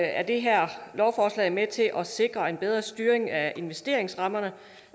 er det her lovforslag med til at sikre en bedre styring af investeringsrammerne